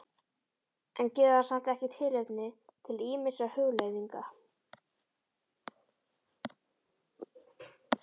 En gefur það samt ekki tilefni til ýmissa hugleiðinga?